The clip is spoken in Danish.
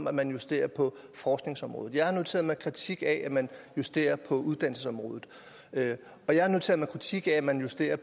at man justerer på forskningsområdet jeg har noteret mig at kritik af at man justerer på uddannelsesområdet og jeg har noteret er kritik af at man justerer